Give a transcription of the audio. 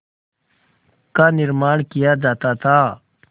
का निर्माण किया जाता था